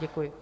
Děkuji.